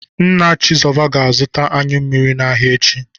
Nna Chizoba ga-azụta anyụ mmiri n'ahịa echi.